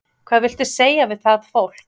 Hvað viltu segja við það fólk?